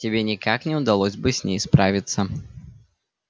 тебе никак не удалось бы с ней справиться